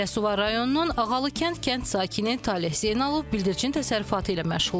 Biləsuvar rayonunun Ağalı kənd sakini Taleh Zeynalov bildirçin təsərrüfatı ilə məşğuldur.